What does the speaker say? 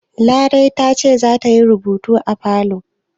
Larai ce za ta yi rubutu a falo?